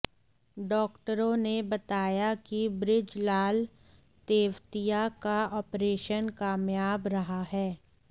डॉक्टरों ने बताया कि बृजलाल तेवतिया का ऑपरेशन कामयाब रहा है